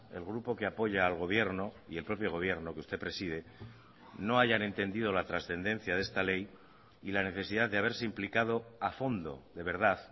el grupo que apoya al gobierno y el propio gobierno que usted preside no hayan entendido la trascendencia de esta ley y la necesidad de haberse implicado a fondo de verdad